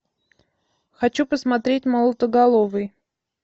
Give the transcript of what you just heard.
хочу посмотреть молотоголовый